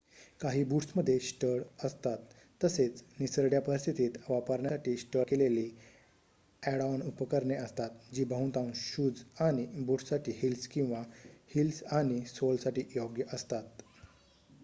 काही बूट्समध्ये स्टड असतात तसेच निसरड्या परिस्थितीत वापरण्यासाठी स्टड केलेली ॲड-ऑन उपकरणे असतात जी बहुतांश शूज आणि बूट्ससाठी हिल्स किंवा हिल्स आणि सोलसाठी योग्य असतात